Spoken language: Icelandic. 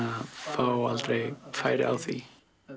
fá aldrei færi á því